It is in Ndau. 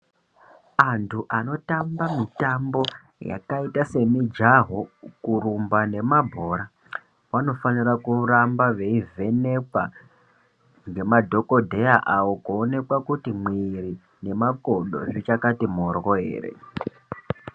Antu anotamba mutambo yakaita semujaho kurumba nemabhora vanofanira kuramba veivhenekwa ngemadhokodheya awo kuonekwa kuti mwiri nemakodo zvichakati mhorwo ere.